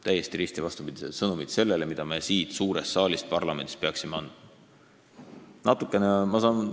Täiesti risti vastupidine sõnum sellele, mida me siit parlamendi suurest saalist peaksime andma.